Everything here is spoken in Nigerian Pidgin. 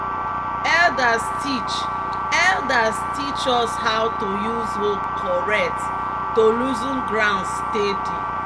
"elders teach "elders teach us how to use hoe correct to loosen ground steady."